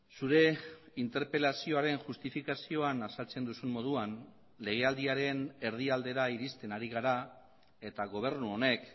zure interpelazioaren justifikazioan azaltzen duzun moduan legealdiaren erdialdera iristen ari gara eta gobernu honek